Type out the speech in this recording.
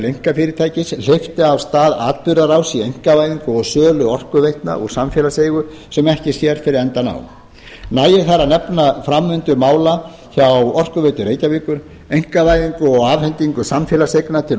einkafyrirtækis hleypti af stað atburðarás í einkavæðingu á sölu orkuveitna úr samfélaginu sem ekki sér fyrir endann á nægir þar að nefna framvindu mála hjá orkuveitu reykjavíkur einkavæðingu og afhendingu samfélagseigna til